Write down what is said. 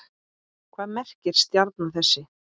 Hvað merkir stjarna þessi?